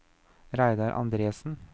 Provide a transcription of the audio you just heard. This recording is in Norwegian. Reidar Andresen